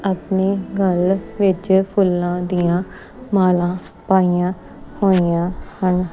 ਆਪਣੇ ਗਲ ਵਿੱਚ ਫੁੱਲਾਂ ਦੀਆਂ ਮਾਲਾ ਪਾਈਆਂ ਹੋਈਆਂ ਹਨ।